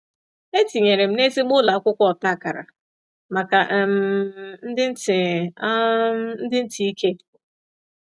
E tinyere m n’ezigbo ụlọ akwụkwọ ọta akara maka um ndị ntị um ndị ntị ike.